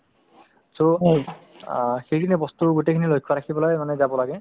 so, অ সেই খিনিয়ে বস্তুৰ গোটেই খিনি লক্ষ্য ৰাখিব লাগে মানে যাব লাগে